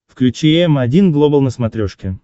включи м один глобал на смотрешке